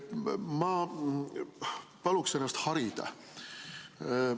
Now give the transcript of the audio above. Ma palun ennast harida.